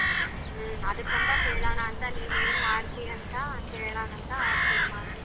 ಹ್ಮ್ ಅದುಕ್ಕಂತಾ ಕೇಳೋಣ ಅಂತ ನೀನ್ ಏನ್ ಮಾಡ್ತೀಯ ಅಂತ ಕೇಳೋಣ ಅಂತ phone ಮಾಡದೇ.